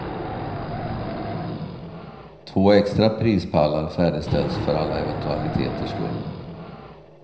Två extra prispallar färdigställs för alla eventualiteters skull.